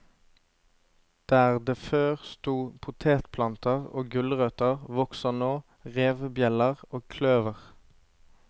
Der det før sto potetplanter og gulrøtter, vokser nå revebjeller og kløver.